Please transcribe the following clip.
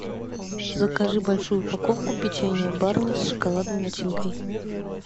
закажи большую упаковку печенья барни с шоколадной начинкой